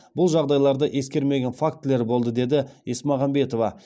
бұл жағдайларды ескермеген фактілер болды деді есмағамбетова